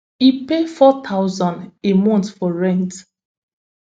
e pay four thousand a month for rent